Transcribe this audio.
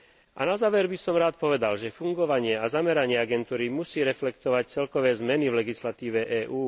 A na záver by som rád povedal, že fungovanie a zameranie agentúry musí reflektovať celkové zmeny v legislatíve EÚ.